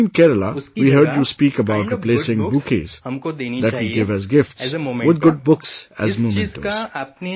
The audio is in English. Recently in Kerala, we heard you speak about replacing bouquets that we give as gifts, with good books as mementos